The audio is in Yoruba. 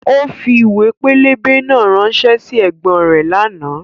Ó fi ìwé pẹlẹbẹ náà ránṣẹ́ sí ẹ̀gbọ́n rẹ̀ lánàá